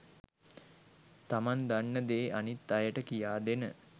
තමන් දන්න දේ අනිත් අයට කියා දෙන